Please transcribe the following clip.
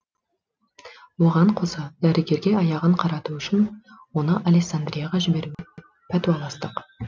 оған қоса дәрігерге аяғын қарату үшін оны алессандрияға жіберуге пәтуаластық